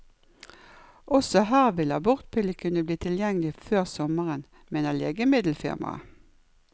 Også her vil abortpillen kunne bli tilgjengelig før sommeren, mener legemiddelfirmaet.